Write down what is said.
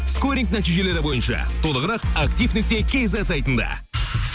скоринг нәтижелері бойынша толығырақ актив нүкте кизет сайтында